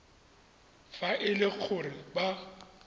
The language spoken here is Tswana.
fa e le gore ba